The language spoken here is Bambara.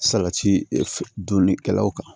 Salati dunnikɛlaw kan